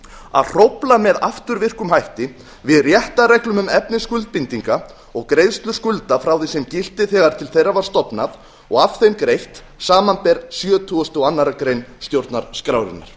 að hrófla með afturvirkum hætti við réttarreglum um efni skuldbindinga og greiðslur skulda frá því sem gilti þegar til þeirra var stofnað og af þeim greitt samanber sjötugasta og aðra grein stjórnarskrárinnar